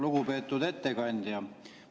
Lugupeetud ettekandja!